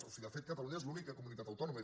o sigui de fet catalunya és l’única comunitat autònoma